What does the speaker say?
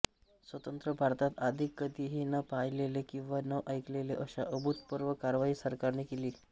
स्वतंत्र भारतात आधी कधीही न पाहिलेली किंवा न ऐकलेली अशा अभुतपूर्व कारवाई सरकारने केली